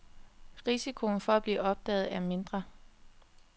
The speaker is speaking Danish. Risikoen for at blive opdaget er mindre.